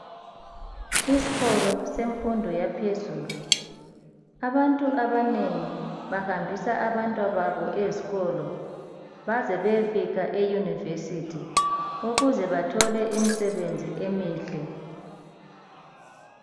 Isikolo semfundo yaphezulu abantu abanengi bahambisa abantwababo ezikolo baze beyefika e"University"ukuze bathole imisebenzi emihle.